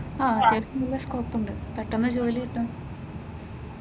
അഹ് നല്ല സ്കോപ്പ്‌ ഉണ്ട് പെട്ടെന്ന് ജോലി കിട്ടും.